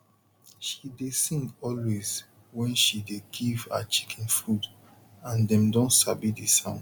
she dey sing always wen she dey give her chicken food and dem don sabi the sound